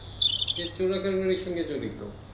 সে চোরাকের বাড়ির সঙ্গে জড়িত